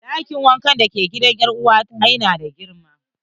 Ɗakin wanka da ke gidan er'uwa ta yana da girma.